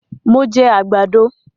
Mo jẹ àgbàdo